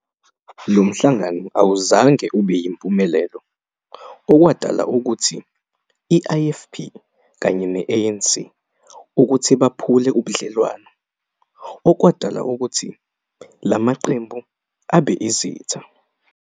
Lo mhlangano awuzange ube yimpumelelo, okwadala ukuthi i-IFP kanye ne-ANC ukuthi baphule ubudlelwano, okwadala ukuthi la maqembu abe izitha.